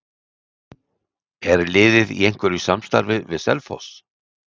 Er liðið í einhverju samstarfi við Selfoss?